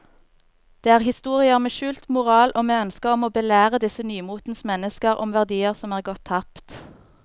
Det er historier med skjult moral og med ønske om å belære disse nymotens mennesker om verdier som er gått tapt.